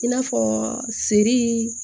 I n'a fɔ seri